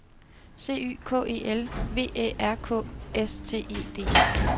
C Y K E L V Æ R K S T E D